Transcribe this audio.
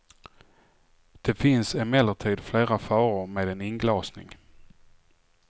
Det finns emellertid flera faror med en inglasning.